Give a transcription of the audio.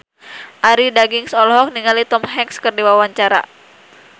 Arie Daginks olohok ningali Tom Hanks keur diwawancara